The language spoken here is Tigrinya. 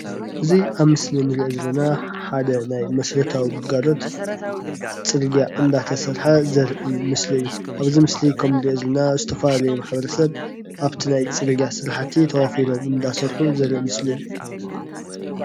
እዚ ኣብ ምስሊ ንሪኦ ዘለና ሓደ ናይ መሰረታዊ ግልጋሎት ፅርግያ እንዳተሰርሐ ዘርኢ ምስሊ እዩ ኣብዚ ምስሊ ከምንሪኦ ዘለና ዝተፈላለዩ ማሕበረሰብ ኣብቲ ናይ ፅርግያ ስራሕቲ ተዋፊሮም እንዳሰርሑ ዘርኢ ምስሊ እዩ።